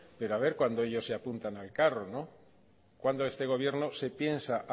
pero haber pero a ver cuando ellos se apuntan al carro no cuándo este gobierno se piensa